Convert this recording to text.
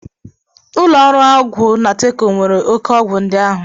Ụlọ ahịa ọgwụ Nateco nwere oke ọgwụ ndị ahụ